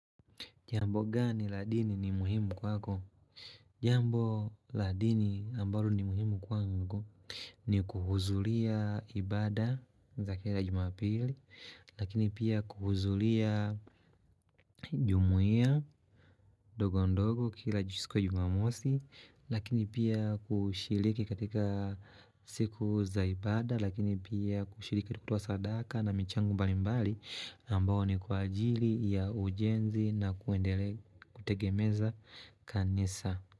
Jambo gani ladini ni muhimu kwako? Jambo ladini ambalo ni muhimu kwangu ni kuhuzulia ibada za kira jumapili Lakini pia kuhuzulia jumuia ndogondogo kila jisiko jumamosi Lakini pia kushiliki katika siku za ibada Lakini pia kushiliki kutuwa sadaka na michangu balimbali ambao ni kwa ajili ya ujenzi na kuendelea kutegemeza kanisa.